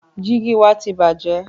Jígì wa ti bàjẹ́.